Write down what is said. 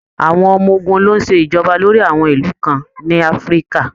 Àwọn ọmọ ogun ló ń ṣe ìjọba lórí àwọn ìlú kan ní Afríkà